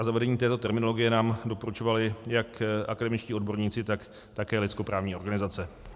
A zavedení této terminologie nám doporučovali jak akademičtí odborníci, tak také lidskoprávní organizace.